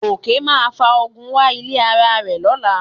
Gòkè máa fa ogun wá ilé ara rẹ̀ lọ́la